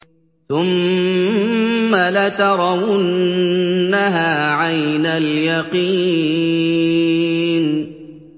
ثُمَّ لَتَرَوُنَّهَا عَيْنَ الْيَقِينِ